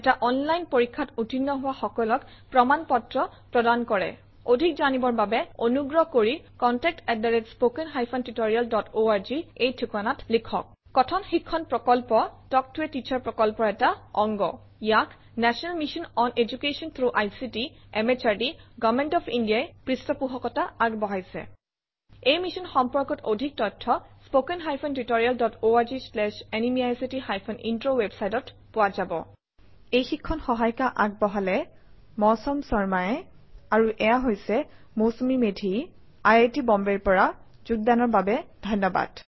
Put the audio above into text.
এটা অনলাইন পৰীক্ষাত উত্তীৰ্ণ হোৱা সকলক প্ৰমাণ পত্ৰ প্ৰদান কৰে অধিক জানিবৰ বাবে অনুগ্ৰহ কৰি contact at spoken hyphen tutorial dot org - এই ঠিকনাত লিখক কথন শিক্ষণ প্ৰকল্প তাল্ক ত a টিচাৰ প্ৰকল্পৰ এটা অংগ ইয়াক national mission on education through ICT MHRD government of India ই পৃষ্ঠপোষকতা আগবঢ়াইছে এই মিশ্যন সম্পৰ্কত অধিক তথ্য spoken hyphen tutorial dot org slash এনএমইআইচিত হাইফেন ইন্ট্ৰ ৱেবচাইটত পোৱা যাব আমি অপুনাৰ অন্শগ্ৰহন আৰু প্ৰতিক্ৰিয়া স্ৱাগতম জনাইচু মই মৌচুমি মেধি চাইন অফ কৰিচু সহযোগ কৰাৰ কাৰনে ধন্য়বাদ নমস্কাৰ